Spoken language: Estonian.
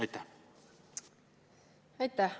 Aitäh!